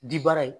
Di baara ye